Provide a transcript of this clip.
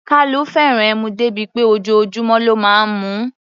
Kalu fẹ́ràn ẹmu dé bí pé ojoojúmọ́ ló máa ń mu ú.